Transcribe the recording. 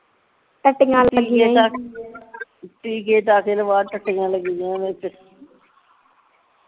ਟੀਕੇ ਟਾਕੇ ਲਵਾ ਟੱਟੀਆਂ ਲੱਗੀਆ ਨਹੀ ਤੇ